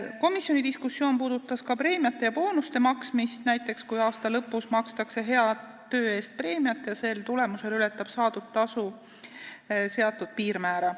Komisjoni diskussioon puudutas ka preemiate ja boonuste maksmist, kui näiteks aasta lõpus makstakse hea töö eest preemiat ja selle tulemusel ületab saadud tasu seatud piirmäära.